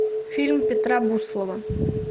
фильм петра буслова